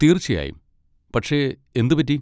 തീർച്ചയായും, പക്ഷെ എന്ത് പറ്റി?